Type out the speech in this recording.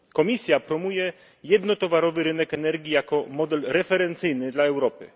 Komisja promuje jednotowarowy rynek energii jako model referencyjny dla Europy.